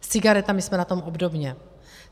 S cigaretami jsme na tom obdobně.